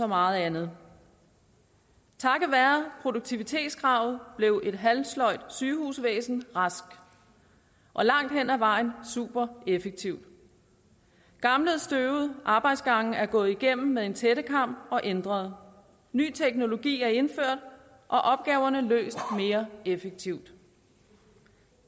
meget andet takket være produktivitetskravet blev et halvsløjt sygehusvæsen rask og langt hen ad vejen super effektivt gamle støvede arbejdsgange er gået igennem med en tættekam og ændret ny teknologi er indført og opgaverne løst mere effektivt